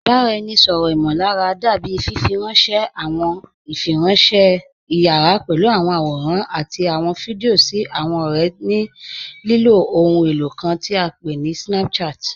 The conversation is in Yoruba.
Ìbaráẹ̀nisọ̀rọ imọ̀lárà dábì fífírànṣẹ̀ àwọn ìfírànṣẹ̀ ìyàrá pẹ̀lú àwọn àwòrán àti àwọn fídíò sí àwọn ọ̀rẹ̀ ní lilo òhùn elo kàn tí à pé ní Snapchat.